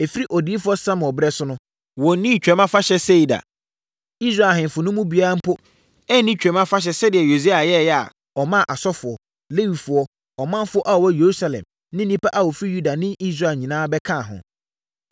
Ɛfiri odiyifoɔ Samuel berɛ so no, wɔnnii Twam Afahyɛ sei da. Israel ahemfo no mu biara mpo anni Twam Afahyɛ sɛdeɛ Yosia yɛeɛ a ɔmaa asɔfoɔ, Lewifoɔ, ɔmanfoɔ a wɔwɔ Yerusalem ne nnipa a wɔfiri Yuda ne Israel nyinaa bɛkaa ho.